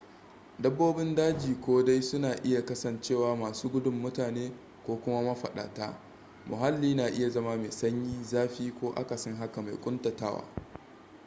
dabbobin daji ko dai suna iya kasancewa masu gudun mutane ko kuma mafaɗata muhalli na iya zama mai sanyi zafi ko akasin haka mai ƙuntatawa